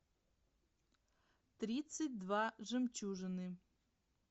тридцать два жемчужины